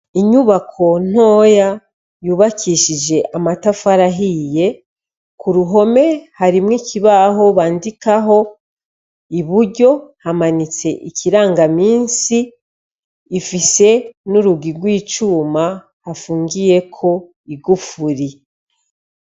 Inyubako ntoya yubakishije amatafari ahiye, ku ruhome harimwo ikibaho bandikaho, i buryo hamanitse ikirangamisi, ifise n'urugi rw'icuma hafungiyeko igufuri.